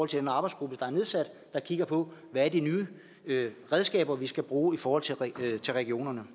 til den arbejdsgruppe der er nedsat og som kigger på hvad de nye redskaber vi skal bruge i forhold til regionerne